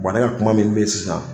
ne ka kuma min be yen sisan